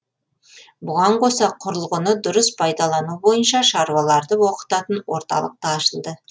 бұған қоса құрылғыны дұрыс пайдалану бойынша шаруаларды оқытатын орталық та ашылды